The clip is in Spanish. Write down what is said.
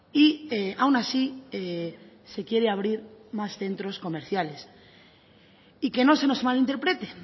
y aun así se quiere abrir más centros comerciales y que no se nos malinterprete